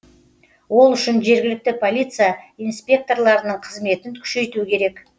ол үшін жергілікті полиция инспекторларының қызметін күшейту керек